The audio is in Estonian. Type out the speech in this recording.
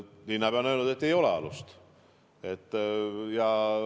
Linnapea on öelnud, et ei ole alust.